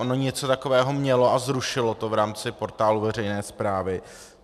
Ono něco takového mělo a zrušilo to v rámci Portálu veřejné správy.